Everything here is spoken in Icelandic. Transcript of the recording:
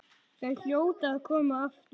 Þau hljóta að koma aftur.